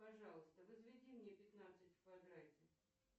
пожалуйста возведи мне пятнадцать в квадрате